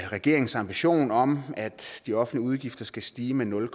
regeringens ambition om at de offentlige udgifter skal stige med nul